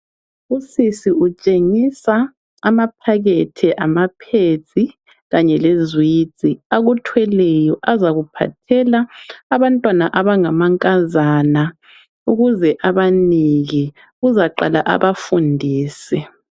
Usisi utshengisa amaphakethe ama pads kanye lezwidzi akuthweleyo azakuphathela abantwana abangamankazana ukuze abanike uzaqala abafundise .